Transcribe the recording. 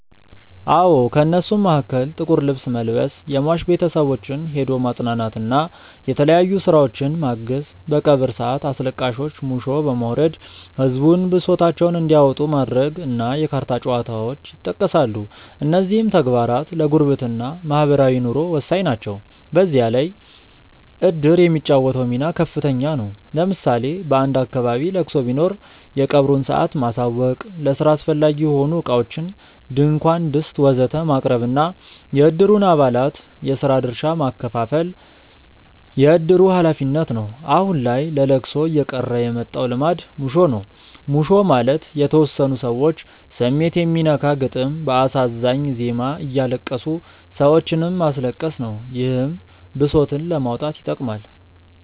አዎ። ከእነሱም መሀከል ጥቁር ልብስ መልበስ፣ የሟች ቤተሰቦችን ሄዶ ማፅናናት እና የተለያዩ ስራዎችን ማገዝ፣ በቀብር ሰአት አስለቃሾች ሙሾ በማውረድ ህዝቡን ብሶታቸውን እንዲያወጡ ማድረግ እና የካርታ ጨዋታዎች ይጠቀሳሉ። እነዚህም ተግባራት ለጉርብትና (ማህበራዊ ኑሮ) ወሳኝ ናቸው። በዛ ላይ እድር የሚጫወተው ሚና ከፍተኛ ነው። ለምሳሌ በአንድ አካባቢ ለቅሶ ቢኖር የቀብሩን ሰአት ማሳወቅ፣ ለስራ አስፈላጊ የሆኑ እቃዎችን (ድንኳን፣ ድስት ወዘተ...) ማቅረብ እና የእድሩን አባላት የስራ ድርሻ ማከፋፈል የእድሩ ሀላፊነት ነው። አሁን ላይ ለለቅሶ እየቀረ የመጣው ልማድ ሙሾ ነው። ሙሾ ማለት የተወሰኑ ሰዎች ስሜት የሚነካ ግጥም በአሳዛኝ ዜማ እያለቀሱ ሰዎችንም ማስለቀስ ነው። ይህም ብሶትን ለማውጣት ይጠቅማል።